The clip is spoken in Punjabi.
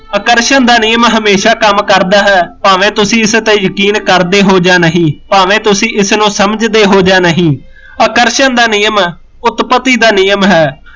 ਆਕਰਸ਼ਣ ਦਾ ਨਿਯਮ ਹਮੇਸ਼ਾ ਕੰਮ ਕਰਦਾ ਹੈ ਭਾਵੇਂ ਤੁਸੀਂ ਇਸ ਉੱਤੇ ਯਕੀਨ ਕਰਦੇ ਹੋ ਜਾਂ ਨਹੀਂ ਭਾਵੇਂ ਤੁਸੀਂ ਇਸਨੂੰ ਸਮਝਦੇ ਹੋ ਜਾਂ ਨਹੀਂ ਆਕਰਸ਼ਣ ਦਾ ਨਿਯਮ ਉਤਪਤੀ ਦਾ ਨਿਯਮ ਹੈ